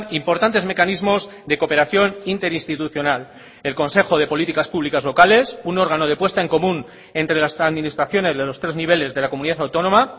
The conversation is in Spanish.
importantes mecanismos de cooperación interinstitucional el consejo de políticas públicas locales un órgano de puesta en común entre las administraciones de los tres niveles de la comunidad autónoma